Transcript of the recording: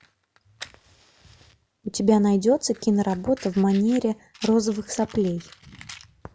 у тебя найдется киноработа в манере розовых соплей